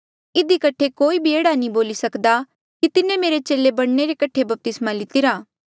इधी कठे कोई भी एह्ड़ा नी बोली सकदा कि तिन्हें मेरे चेले बणने रे कठे बपतिस्मा लितिरा